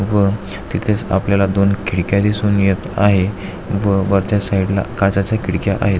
व तिथेच आपल्याला दोन खिडक्या दिसून येत आहे व वर त्या साइडला काचाच्या खिडक्या आहेत.